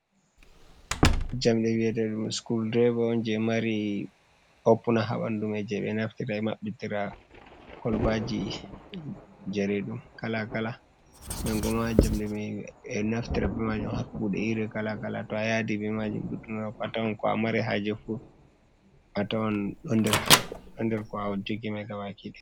Jamɗe wiyeteɗum sukol ɗireva on je mari oppuna ha banɗumai. Je be naftira be mabbitira kolbaji jareɗum kalakala. Nangoma jamɗe mai be naftira be majum ha kuɗe iri kalakala. To a yaɗi be majum ɗuɗɗuna atawan ko a mari haje fu. atawan ɗon nder ko awo jogi mai gabakida.